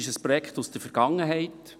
Es ist ein Projekt aus der Vergangenheit.